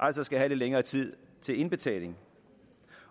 altså skal have lidt længere tid til indbetaling